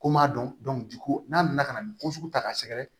Ko n m'a dɔn di ko n'a nana ka na nin ko sugu ta k'a sɛgɛrɛ